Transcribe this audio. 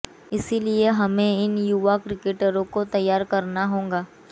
इसलिए हमें इन युवा क्रिकेटरों को तैयार करना होगा